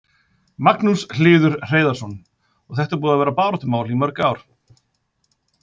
Magnús Hlynur Hreiðarsson: Og þetta er búið að vera baráttumál í mörg ár?